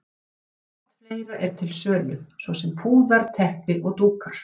Margt fleira er til sölu, svo sem púðar, teppi og dúkar.